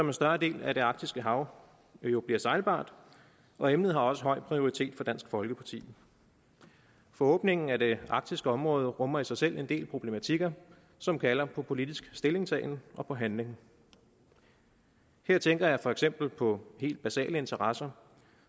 en større del af det arktiske hav jo bliver sejlbart og emnet har også høj prioritet for dansk folkeparti for åbningen af det arktiske område rummer i sig selv en del problematikker som kalder på politisk stillingtagen og på handling her tænker jeg for eksempel på helt basale interesser